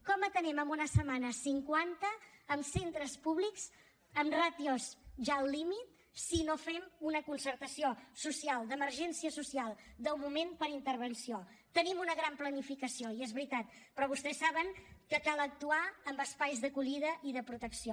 com n’atenem en una setmana cinquanta en centres públics amb ràtios ja al límit si no fem una concertació social d’emergència social del moment per intervenció tenim una gran planificació i és veritat però vostès saben que cal actuar amb espais d’acollida i de protecció